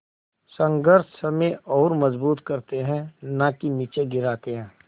संघर्ष हमें और मजबूत करते हैं नाकि निचे गिराते हैं